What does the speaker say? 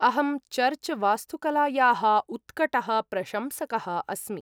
अहं चर्च् वास्तुकलायाः उत्कटः प्रशंसकः अस्मि।